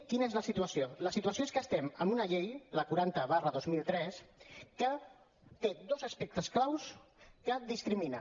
quina és la situació la situació és que estem amb una llei la quaranta dos mil tres que té dos aspectes clau que discriminen